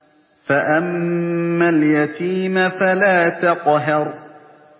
فَأَمَّا الْيَتِيمَ فَلَا تَقْهَرْ